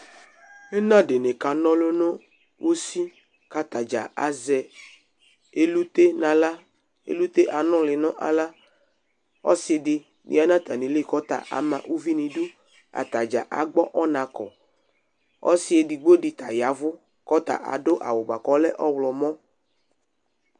Ɩna ɖɩnɩ ƙana ɔlʋ nʋ usiAtaɖza azɛ elute nʋ aɣla ,elute nʋlɩ nʋ aɣlaƆsɩ ɖɩ ƴa nʋ atamɩli ƙʋ ɔta ama uvi n' iduAtaɖza agbɔ ɔna ƙɔ, ɔsɩ eɖigbo ɖɩ ta yavʋ ,aɖʋ awʋ bʋaƙʋ ɔlɛ ɔɣlɔmɔ